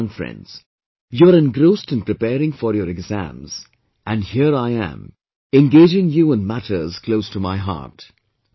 Anyway, young friends, you are engrossed in preparing for your exams and here I am, engaging you in matters close to my heart